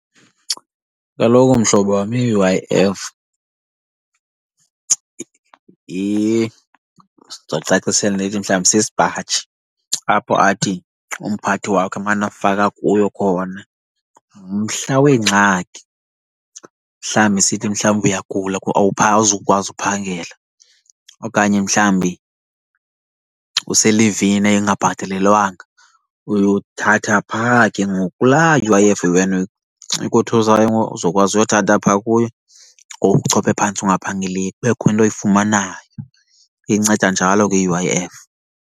Kaloku mhlobo wam i-U_I_F ndizokucacisela ndithi mhlawumbi, sisipaji apho athi umphathi wakho emane efaka kuyo khona. Mhla weengxaki, mhlawumbi sithi mhlawumbi uyagula awuzukwazi uphangela okanye mhlawumbi uselivini engabhatalelwanga uyothatha phaa ke ngoku kulaa U_I_F wena ikothusayo ngoku, uzokwazi uyothatha phaa kuyo. Ngoku uchophe phantsi ungaphangeliyo kubekho into oyifumanayo. Inceda njalo ke i-U_I_F.